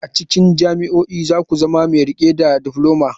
A cikin kwalejoji za ku zama mai riƙe da difloma.